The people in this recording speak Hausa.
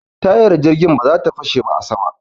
Tayar jirgin ba za ta fashe ba a sama.